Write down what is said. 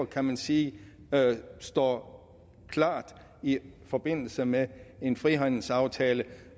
kan man sige står klart i forbindelse med en frihandelsaftale